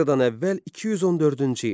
Eradan əvvəl 214-cü il.